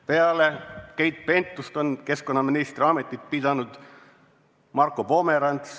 Peale Keit Pentust on keskkonnaministri ametit pidanud Marko Pomerants ...